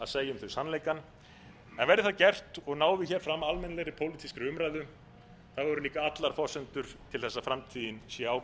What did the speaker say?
þau sannleikann en verði það gert og náð fram almennilegri pólitískri umræðu eru líka allar forsendur til þess að framtíðin sé